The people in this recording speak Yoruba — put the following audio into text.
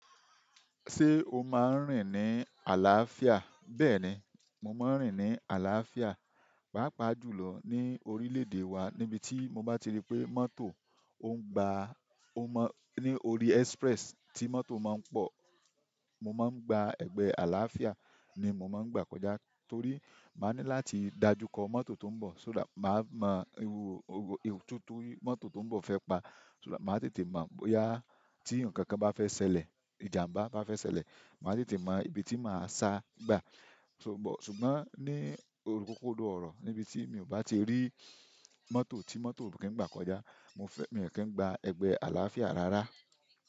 Ṣé o máa ń rìn ní àlàáfíà? Bẹ́ẹ̀ni, mo máa ń rìn ní àlàáfíà, pàápàá jùlọ ní orílẹ̀-èdè wa níbi tí mo bá ti rí pé mọ́tò ò ń gba, ó mọ̀, ní orí express tí mọ́tò máa ń pọ̀, mo máa ń gba ẹgbẹ́ àlàáfíà ni mo máa ń gbà kọjá torí màá ní láti dájú kọ mọ́tò tó ń bọ̀, o that, màá mọ ewu, ewu itu ti mọ́tò tó ń bọ̀ fẹ́ pa, so that, màá tètè mọ̀ bóyá tí ǹnkan kan bá fẹ́ ṣẹlẹ̀, ìjàmbá to bá fẹ́ ṣẹlẹ̀, màá tètè máa mọ ibi tí màá sa gbà. Só but, ṣùgbọ́n ní o-- ọ́kọ́do ọ̀rọ̀ níbi tí mi ò bá ti rí mọ́tò tí mọ́tò ò kí ń gbà kọjá, mo fẹ́, mi n kí ń gba ẹgbẹ́ àlàáfíà rárá.